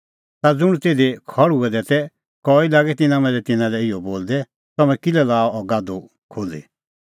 ता ज़ुंण तिधी खल़्हुऐ दै तै कई लागै तिन्नां मांझ़ै तिन्नां लै इहअ बोलदै तम्हैं किल्है लाअ अह गाधू खोल्ही